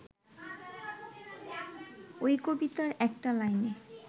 ওই কবিতার একটা লাইনে